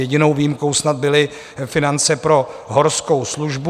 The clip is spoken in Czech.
Jedinou výjimkou snad byly finance pro Horskou službu.